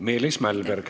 Meelis Mälberg.